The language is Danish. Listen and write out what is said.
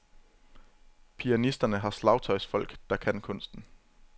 Pianisterne har slagtøjsfolk, der kan kunsten.